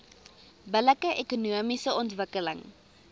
billike ekonomiese ontwikkeling